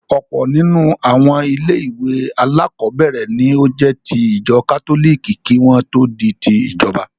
Ọ̀pọ̀ nínú àwọn ilé-ìwé alákọ̀ọ́bẹ̀ẹ̀rẹ̀ ní ó jẹ́ ti ìjọ kátólìkì kí wọ́n tó di ti ìjọba.